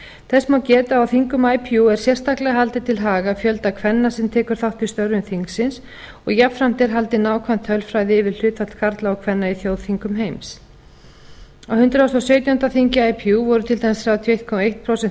þess má geta að á þingum ipu er sérstaklega haldið til haga fjölda kvenna sem tekur þátt í störfum þingsins og jafnframt er haldin nákvæm tölfræði yfir hlutfall karla og kvenna í þjóðþing heims á hundrað og sautjándu þingi ipu voru til dæmis þrjátíu og einn